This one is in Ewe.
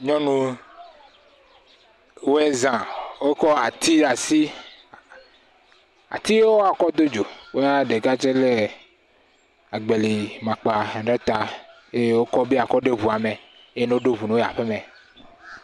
nyunuwo woe zã wó kɔ́ ati ɖe asi atiwo yoke wɔakɔ dó dzo woea ɖeka tsɛ lɛ agbeli makpa ɖe ta eye wókɔ be yakɔ ɖo eʋua me eye no ɖó ʋu nowo yi aƒemɛ